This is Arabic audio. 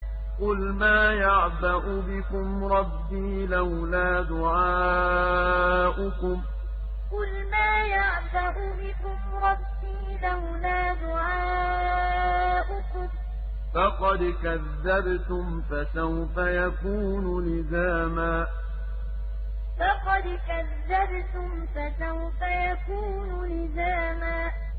قُلْ مَا يَعْبَأُ بِكُمْ رَبِّي لَوْلَا دُعَاؤُكُمْ ۖ فَقَدْ كَذَّبْتُمْ فَسَوْفَ يَكُونُ لِزَامًا قُلْ مَا يَعْبَأُ بِكُمْ رَبِّي لَوْلَا دُعَاؤُكُمْ ۖ فَقَدْ كَذَّبْتُمْ فَسَوْفَ يَكُونُ لِزَامًا